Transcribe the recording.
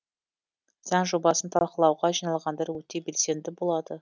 заң жобасын талқылауға жиналғандар өте белсенді болады